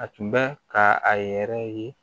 A tun bɛ ka a yɛrɛ ye